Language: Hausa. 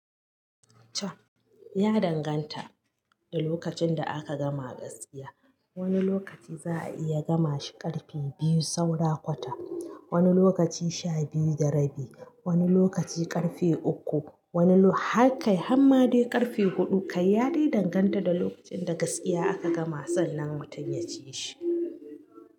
Ya danganta da lokacin da aka gama gaskiya. Wani lokaci za a iya gama shi ƙarfe biyu saura kwata, wani lokaci sha biyu da rabi, wani lokaci ƙarfe uku, wani lok-- har kai har ma dai ƙarfe huɗu. Kai ya dai danganta da lokacin da gaskiya aka gama sannan mutum ya ciyi shi.